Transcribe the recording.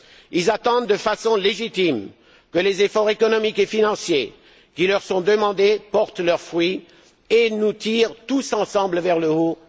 Ils attendent de façon légitime que les efforts économiques et financiers qui leur sont demandés portent leurs fruits et nous tirent tous ensemble vers le haut.